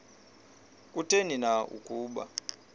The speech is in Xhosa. kutheni na ukuba